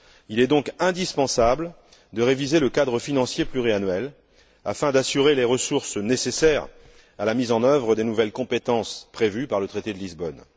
Il est donc indispensable de réviser le cadre financier pluriannuel afin d'assurer les ressources nécessaires à la mise en œuvre des nouvelles compétences prévues par le traité de Lisbonne.